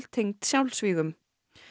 tengd sjálfsvígum